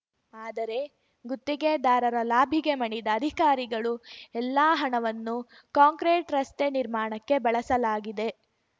ಅದರೆ ಗುತ್ತಿಗೆದಾರರ ಲಾಭಿಗೆ ಮಣಿದ ಅಧಿಕಾರಿಗಳು ಎಲ್ಲಾ ಹಣವನ್ನು ಕಾಂಕ್ರೆಟ್‌ ರಸ್ತೆ ನಿರ್ಮಾಣಕ್ಕೆ ಬಳಸಲಾಗಿದೆ